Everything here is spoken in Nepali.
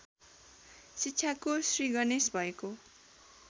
शिक्षाको श्रीगणेश भएको